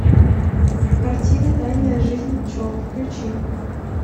картина тайная жизнь пчел включи